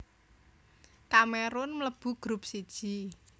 Kamerun mlebu grup siji